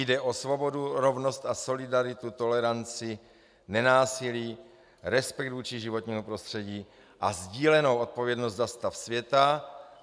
Jde o svobodu, rovnost a solidaritu, toleranci, nenásilí, respekt vůči životnímu prostředí a sdílenou odpovědnost za stav světa."